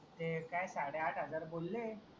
ते काय साडेआठहजार बोलेय